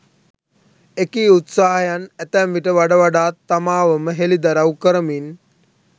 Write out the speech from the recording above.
එකී උත්සාහයන් අතැම්විට වඩ වඩාත් තමාව ම හෙළිදරව් කරමින්